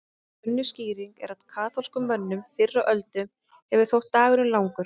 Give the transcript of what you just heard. Önnur skýring er að kaþólskum mönnum fyrr á öldum hefur þótt dagurinn langur.